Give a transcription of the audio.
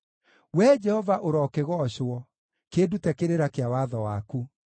Wee Jehova, ũrokĩgoocwo; kĩndute kĩrĩra kĩa watho waku.